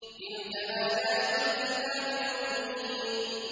تِلْكَ آيَاتُ الْكِتَابِ الْمُبِينِ